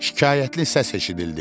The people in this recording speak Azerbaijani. Şikayətli səs eşidildi.